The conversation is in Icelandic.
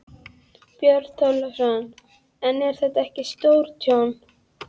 Björn Þorláksson: En er þetta ekki stórtjón?